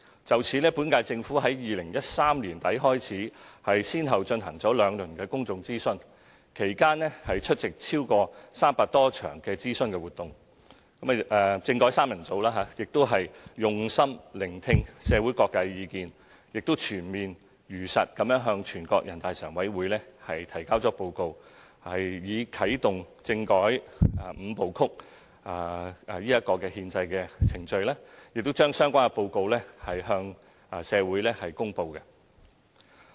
就此，本屆政府在2013年年底開始，先後進行了兩輪的公眾諮詢，其間出席超過300場諮詢活動，"政改三人組"用心聆聽社會各界的意見，並且全面地、如實地向全國人大常委會提交報告，以啟動政改"五步曲"的憲制程序，並將有關報告向社會公布。